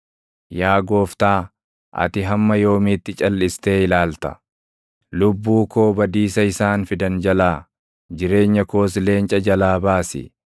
Yaa Gooftaa, ati hamma yoomiitti calʼistee ilaalta? Lubbuu koo badiisa isaan fidan jalaa, jireenya koos leenca jalaa baasi.